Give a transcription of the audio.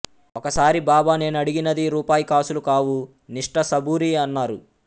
ఒకసారి బాబా నేనడిగినది రూపాయి కాసులు కావు నిష్ఠ సబూరీ అన్నారు